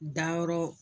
Dayɔrɔ